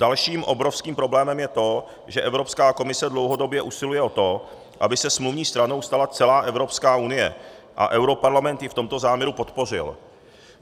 Dalším obrovským problémem je to, že Evropská komise dlouhodobě usiluje o to, aby se smluvní stranou stala celá Evropská unie, a europarlament ji v tomto záměru podpořil.